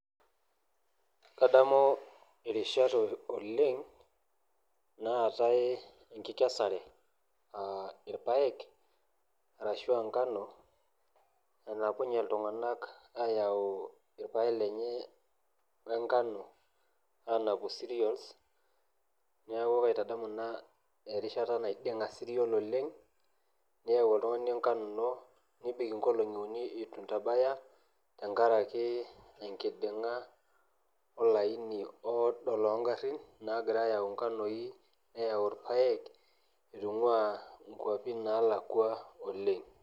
Kadamu irishat oleng' naatae enkikesare aa irpaek ashu nkanoi naarem ltung'anak ayau irpaek lenye onkano anapu cereals, neaku kaitadamu ina erishata naiding'a cereals nelo ayau oltung'ani ngano inonebik nkolongi uni ituebaya ine oodo longarin nagira neyau irpaek itungua nkwapi nalakwa oleng'.